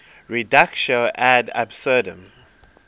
reductio ad absurdum